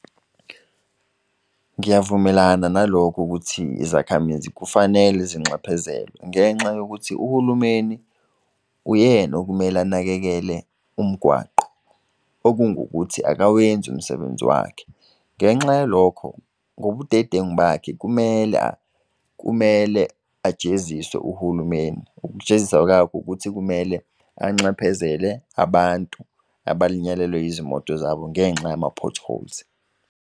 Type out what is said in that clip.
Ngiyavumelana nalokhu ukuthi izakhamizi kufanele zinxephezelwe ngenxa yokuthi uhulumeni uyena okumele anakekele umgwaqo. Okungukuthi akawenzi umsebenzi wakhe ngenxa yalokho ngobudedengu bakhe kumele ajeziswe uhulumeni. Ukujeziswa ukuthi kumele enxephezele abantu abalinyalelwe izimoto zabo ngenxa yama-potholes.